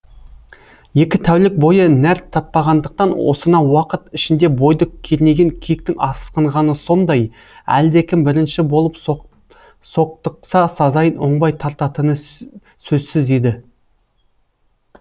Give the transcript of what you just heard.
екі тәулік бойы нәр татпағандықтан осынау уақыт ішінде бойды кернеген кектің асқынғаны сондай әлдекім бірінші болып соқтықса сазайын оңбай тартатыны сөзсіз еді